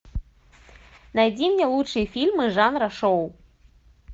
найди мне лучшие фильмы жанра шоу